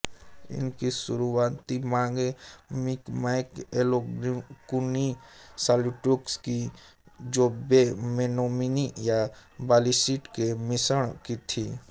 इनकी शुरुवाती माएँ Mi'kmaq Algonquin Saulteaux Cree Ojibwe Menominee या मालीसीट के मिश्रण की थीं